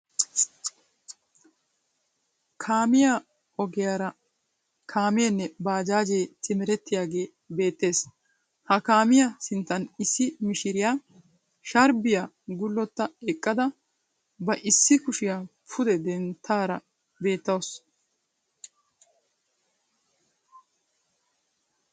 Kaamiya ogiyara haameenne baajaajee simerettiyage beettes. Ha kaamiya sinttan issi mishiriya sarbbiya gullotta eqqada ba issi kushiya pude denttidaara beettawusu.